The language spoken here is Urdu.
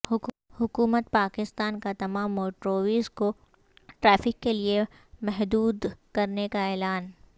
حکومت پاکستان کا تمام موٹرویز کو ٹریفک کے لیے محدود کرنے کا اعلان